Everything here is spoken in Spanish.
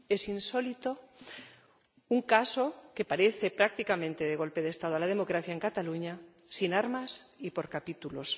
Es insólito un caso que parece prácticamente de golpe de Estado a la democracia en Cataluña, sin armas y por capítulos.